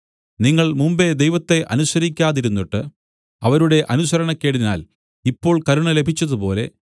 നിങ്ങൾ മുമ്പെ ദൈവത്തെ അനുസരിക്കാതിരുന്നിട്ട് അവരുടെ അനുസരണക്കേടിനാൽ ഇപ്പോൾ കരുണ ലഭിച്ചതുപോലെ